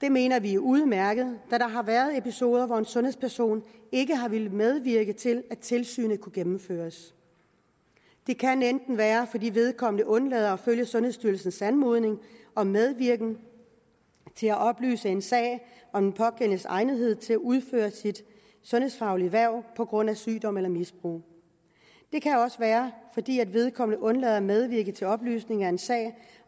det mener vi er udmærket da der har været episoder hvor en sundhedsperson ikke har villet medvirke til at tilsynet kunne gennemføres det kan være fordi vedkommende undlader at følge sundhedsstyrelsens anmodning om medvirken til at oplyse i en sag om den pågældendes egnethed til at udføre sit sundhedsfaglige hverv på grund af sygdom eller misbrug det kan også være fordi vedkommende undlader at medvirke til oplysning i en sag